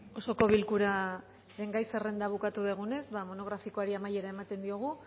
osoko bilkuraren gai zerrenda bukatu dugunez monografikoari amaiera ematen diogu